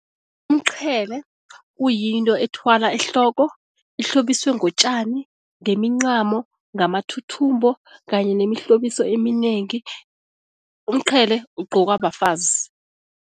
Umqhele kuyinto ethwalwa ehloko, ehlobiswe ngotjani, ngemincamo, ngamathuthumbo kanye nemihlobiso eminengi. Umqhele ugqokwa bafazi.